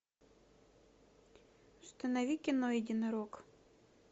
установи кино единорог